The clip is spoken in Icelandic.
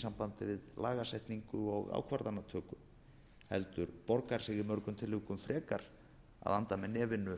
sambandi við lagasetningu og ákvarðanatöku heldur borgar sig í mörgum tilvikum frekar að anda með nefinu